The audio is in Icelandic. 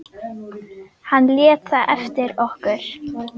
Hann lét það eftir okkur.